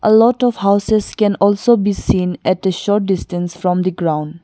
A lot of houses can also be seen at the short distance from the ground.